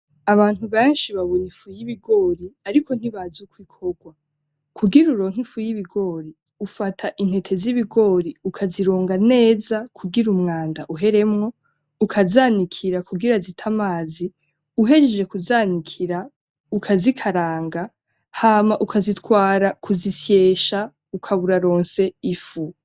Abantu benshi babona ifu y’ibigori ariko ntibazi ukw’ikorwa. Kugira uronke ifu y’ibigori ufata intete z’ibigori ukazironga neza kugira umwanda uheremwo ukazanikira kugira zite amazi ,uhejeje kuzanikira ukazikaranga, hama ukazitwara kuzisyesha ukaba uraronse ifu.